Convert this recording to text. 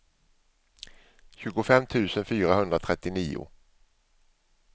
tjugofem tusen fyrahundratrettionio